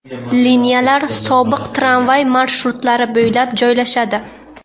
Liniyalar sobiq tramvay marshrutlari bo‘ylab joylashadi.